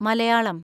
Malayalam